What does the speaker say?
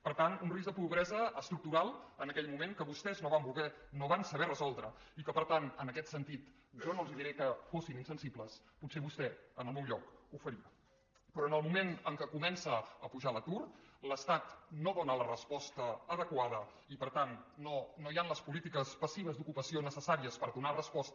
per tant un risc de pobresa estructural en aquell moment que vostès no van voler no van saber resoldre i que per tant en aquest sentit jo no els diré que fossin insensibles potser vostè en el meu lloc ho faria però en el moment en què comença a pujar l’atur l’estat no dóna la resposta adequada i per tant no hi han les polítiques passives d’ocupació necessàries per donar resposta